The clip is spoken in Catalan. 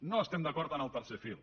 no estem d’acord amb el tercer fil